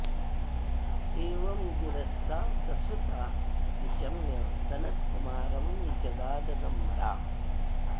एवं गिरः सा ससुता निशम्य सनत्कुमारं निजगाद नम्रा